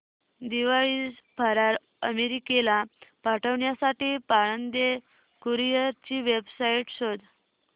दिवाळी फराळ अमेरिकेला पाठविण्यासाठी पाळंदे कुरिअर ची वेबसाइट शोध